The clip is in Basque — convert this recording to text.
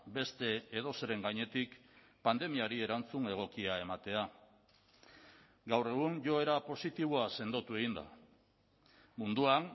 beste edozeren gainetik pandemiari erantzun egokia ematea gaur egun joera positiboa sendotu egin da munduan